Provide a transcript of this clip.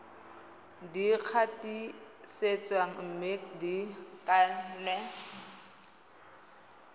di gatisitsweng mme di kannwe